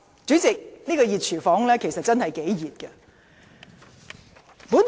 主席，這個"熱廚房"的溫度其實真的頗熱。